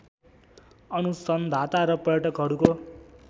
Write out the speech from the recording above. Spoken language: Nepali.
अनुसन्धाता र पर्यटकहरूको